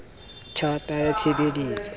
tj hata ya tshe beletso